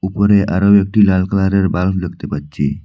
উপরে আরও একটি লাল কালারের বাল্ব দেখতে পাচ্ছি।